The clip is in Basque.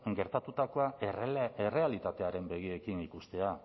gertatutakoa errealitatearen begiekin ikustea